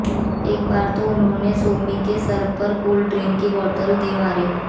एक बार तो उन्होंने सोमी के सर पर कोल्ड ड्रिंक की बोतल दे मारी